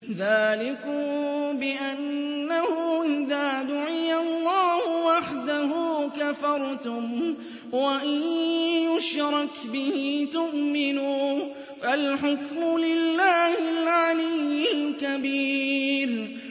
ذَٰلِكُم بِأَنَّهُ إِذَا دُعِيَ اللَّهُ وَحْدَهُ كَفَرْتُمْ ۖ وَإِن يُشْرَكْ بِهِ تُؤْمِنُوا ۚ فَالْحُكْمُ لِلَّهِ الْعَلِيِّ الْكَبِيرِ